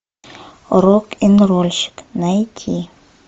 рок н рольщик найти